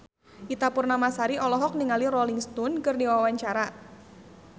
Ita Purnamasari olohok ningali Rolling Stone keur diwawancara